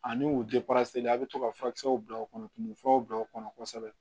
Ani u a bɛ to ka furakisɛw bila u kɔnɔ tumu furaw bila u kɔnɔ kosɛbɛ